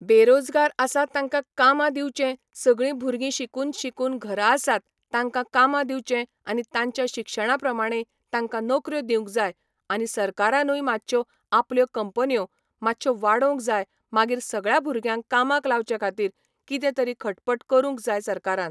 बेरोजगार आसा तांकां कामां दिवचें सगळीं भुरगीं शिकून शिकून घरा आसात तांकां कामां दिवचें आनी तांच्या शिक्षणां प्रमाणें तांकां नोकऱ्यो दिवंक जाय आनी सरकारानूय मातश्यो आपल्यो कंपन्यो मातश्यो वाडोवंक जाय मागीर सगळ्या भुरग्यांक कामाक लावचे खातीर कितें तरी खटपट करूंक जाय सरकारान.